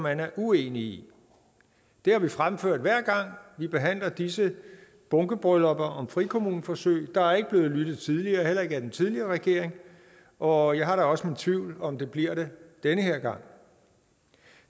er uenige i det har vi fremført hver gang vi behandler disse bunkebryllupper om frikommuneforsøg men der er ikke blevet lyttet tidligere heller ikke af den tidligere regering og jeg har da også mine tvivl om der bliver det den her gang